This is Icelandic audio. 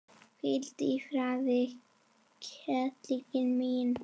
Hvíldu í friði, Ketill minn.